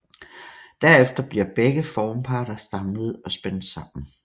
Derefter bliver begge formparter samlet og spændt sammen